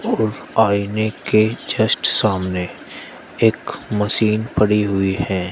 और आइने के जस्ट सामने एक मशीन पड़ी हुई है।